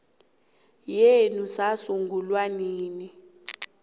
yenu sasungulwa nini